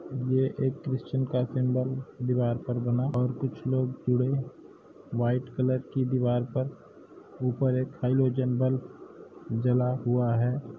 ये एक दीवार पर बना और कुछ लोग जुड़े वाईट कलर की दीवार पर ऊपर एक हाइलोजन बल्ब जला हुआ है।